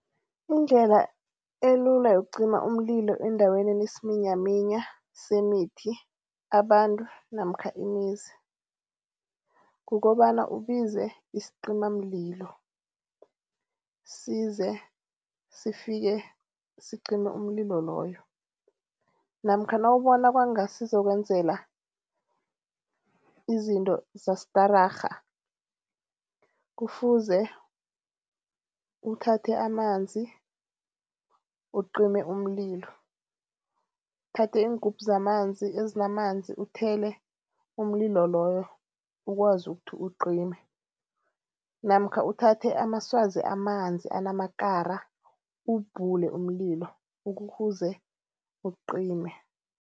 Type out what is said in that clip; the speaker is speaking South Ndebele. Indlela elula yokucima umlilo endaweni enesiminyaminya semithi, abantu namkha imizi kukobana ubize isicimamlilo. Size, sifike sicime umlilo loyo namkha nawubona kwanga sizokwenzela izinto zastararha kufuze uthathe amanzi ucime umlilo. Uthathe iingubhu zamanzi, ezinamanzi uthele umlilo loyo ukwazi ukuthi ucime namkha uthathe amaswazi amanzi anamakara uwubhule umlilo ukuze ucime.